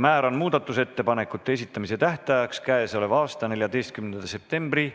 Määran muudatusettepanekute esitamise tähtajaks k.a 14. septembri